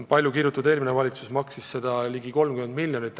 Palju kirutud eelmine valitsus maksis seda ligi 30 miljonit.